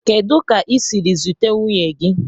Kedu ka i siri zute nwunye gi?